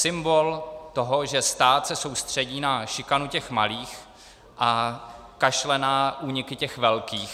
Symbol toho, že stát se soustředí na šikanu těch malých a kašle na úniky těch velkých.